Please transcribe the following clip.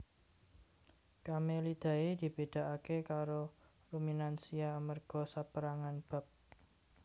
Camelidae dibédakaké karo ruminansia amarga sapérangan bab